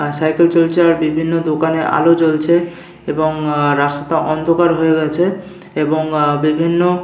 আর cycle চলছে আর বিভিন্ন দোকানে আলো জ্বলছে এবং আ রাস্তা অন্ধকার হয়ে রয়েছে এবং আ বিভিন্ন।